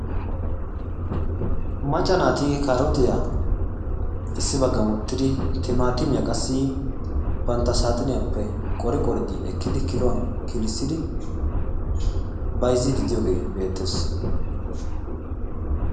macca naati kaarootiyaa issi baggan woottidi timaatimiyaa qassi bantta saaxiniyaappe qori qori ekkidi kiluwaan kilissiidi bayzziidi de'iyogee beettees.